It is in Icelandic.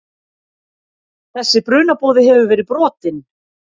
Þessi brunaboði hefur verið brotinn.